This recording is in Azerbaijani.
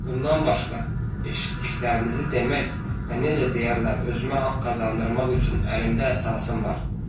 Bundan başqa eşitdiklərinizi demək və necə deyərlər özümə haqq qazandırmaq üçün əlimdə əsasım var.